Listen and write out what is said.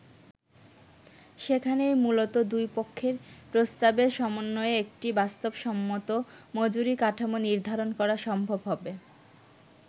সেখানেই মূলত দুই পক্ষের প্রস্তাবের সমন্বয়ে একটি বাস্তবসম্মত মজুরি কাঠামো নির্ধারণ করা সম্ভব হবে।